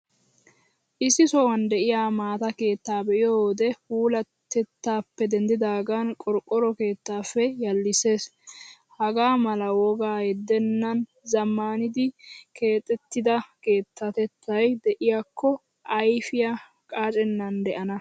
Issi sohuwan de'iyaa maata keettaaa be'iyo wode puulatettaappe denddidaagan qorqqoro keettaappe yallissees. Hagaa mala wogaa yeddennan zammanidi keexettida keettatay de'iyaakko ayfiyaa qaacennan de'ana.